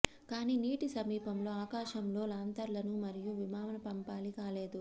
కానీ నీటి సమీపంలో ఆకాశంలో లాంతర్లను మరియు విమాన పంపాలి కాలేదు